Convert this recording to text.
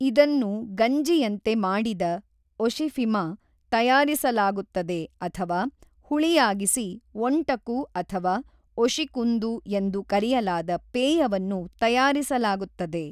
ಇದನ್ನು ಗಂಜಿಯಂತೆ ಮಾಡಿದ ಒಶಿಫಿಮ ತಯಾರಿಸಲಾಗುತ್ತದೆ ಅಥವಾ ಹುಳಿಯಾಗಿಸಿ ಒಂಟಕು ಅಥವಾ ಒಷಿಕುಂದು ಎಂದು ಕರೆಯಲಾದ ಪೇಯವನ್ನು ತಯಾರಿಸಲಾಗುತ್ತದೆ.